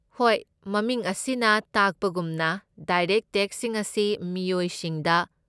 ꯍꯣꯏ, ꯃꯃꯤꯡ ꯑꯁꯤꯅ ꯇꯥꯛꯄꯒꯨꯝꯅ ꯗꯥꯏꯔꯦꯛꯠ ꯇꯦꯛꯁꯁꯤꯡ ꯑꯁꯤ ꯃꯤꯑꯣꯏꯁꯤꯡꯗ